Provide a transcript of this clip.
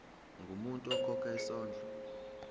ungumuntu okhokha isondlo